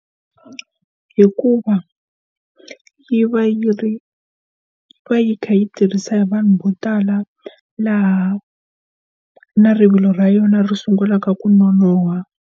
Hikuva yi va yi ri va yi kha yi tirhisa hi vanhu vo tala laha na rivilo ra yona ri sungulaka ku nonoha.